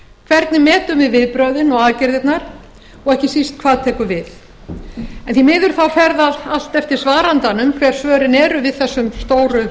hvernig metum við viðbrögðin og aðgerðirnar og ekki síst hvað tekur við en því miður fer það allt eftir svarandanum hver svörin eru við þessum stóru